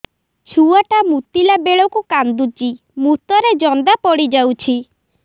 ଛୁଆ ଟା ମୁତିଲା ବେଳକୁ କାନ୍ଦୁଚି ମୁତ ରେ ଜନ୍ଦା ପଡ଼ି ଯାଉଛି